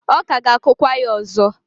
ọ ka ga-akụkwa ya ọzọ.